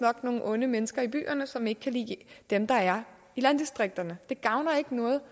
nogle onde mennesker i byerne som ikke kan lide dem der er i landdistrikterne det gavner ikke noget